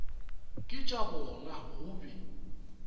ke tša bona go be